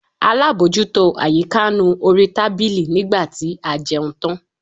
Alábòjútó àyíká nu orí tábìlì nígbà tí a jẹun tán.